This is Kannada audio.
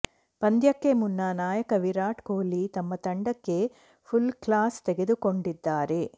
ಪಂದ್ಯಕ್ಕೆ ಮುನ್ನ ನಾಯಕ ವಿರಾಟ್ ಕೊಹ್ಲಿ ತಮ್ಮ ತಂಡಕ್ಕೆ ಫುಲ್ ಕ್ಲಾಸ್ ತೆಗೆದುಕೊಂಡಿದ್ದಾರೆ